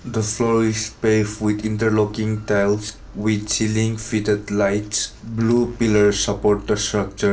the floor is paved with interlocking tiles with chiling fitted lights blue pillar support the structure.